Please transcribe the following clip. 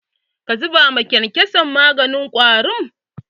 Ka zuba wa kyankyason maganin ƙwari?